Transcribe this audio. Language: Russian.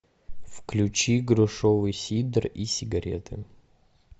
включи грушевый сидр и сигареты